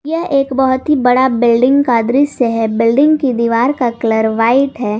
यह एक बहोत ही बड़ा बिल्डिंग का दृश्य है बिल्डिंग की दीवार का कलर व्हाइट है।